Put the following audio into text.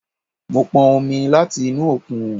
Mo pọn omi láti inú òkun